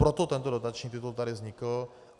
Proto tento dotační titul tady vznikl.